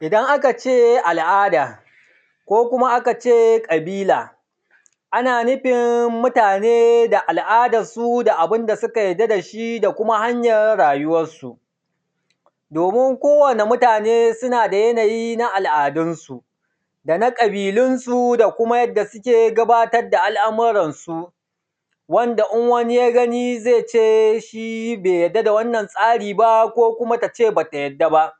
Idan a kace al’ada ko a kace ƙabila ana nufin mutane da al’adansu da abunda suka yadda dashi da kuma hanyar rayuwansu. Domin kowani mutane suna da yanayi na al’adunsu dana kabilunsu da kuma yanda suke gudanar da al’amuransu wanda in wani ya gani zaice shi bai yadda da wannan tsari ba ko tace bata yadda ba.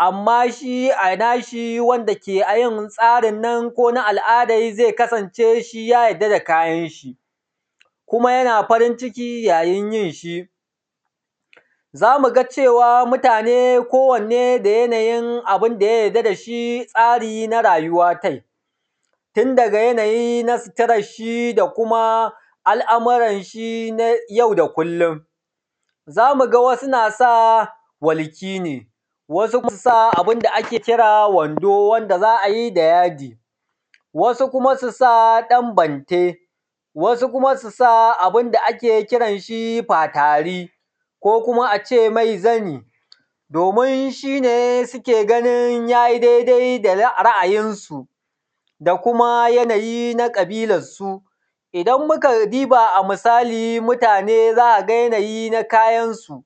Amma shi a nashi wanda keyin tsarinnan kona al’adan zai kasance shiya yarda da kayanshi kuma yana farin ciki yayin yinshi, zamuga cewan mutane ko wane da yanayin abunda ya yadda dashi tsari na rayuwa tai, tun daga yanayi na suturanshi da kumaal’amuranshi na yau da kullum. Zamu ga wasu nasa walki ne wasu nasa abunda ake kira wando wanda za’ayi da yadi wasu kuma susa ɗan bante wasu kuma susa abunda ake kiran ɗan fatari ko kuma ace mai zani domin shine suke ganin yayi dai dai da ra’ayinsu da kuma yanayi na ƙabililansu. Idan muka diba wato mutane zamuga yanayi na kayansu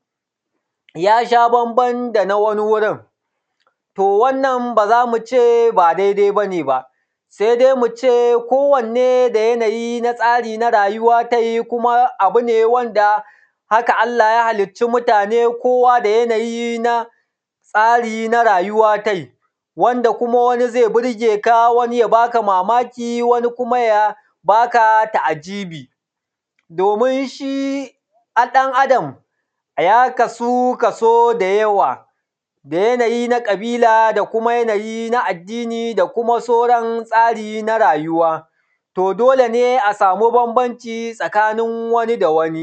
yasha banban dana wani wurin to wannan bazamuce ba daidai bane ba sai dai muce kowanne da yanayi na tsari na rayuwa tai kuma wanda haka Allah ya halicci mutane kowa da yanayi na tsari na rayuwa tai, wanda kuma wani zai burgeka wani ya baka mamaki wani kuma ya baka ta’ajibi dominshi ɗan Adam ya kasu yanayi da yawa da yanayi na ƙabila da kuma yanayi na addini da kuma sauran tsari nja rayuwa to dolene a samu banbanci tsakanin wani da wani.